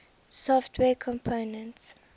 software components